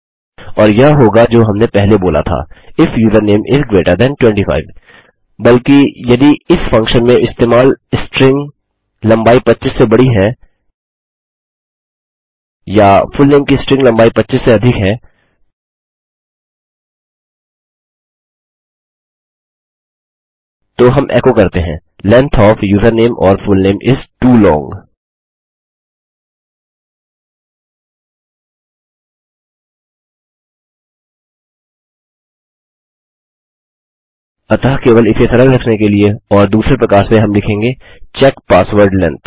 और यह होगा जो हमने पहले बोला था if username is greater than 25 बल्कि यदि इस फंक्शन में इस्तेमाल स्ट्रिंग लम्बाई 25 से बड़ी है या फुलनेम की स्ट्रिंग लम्बाई 25 से अधिक है तो हम एको करते हैं length of username or full name is too long अतः केवल इसे सरल रखने के लिए और दूसरे प्रकार से हम लिखेंगे चेक पासवर्ड लेंग्थ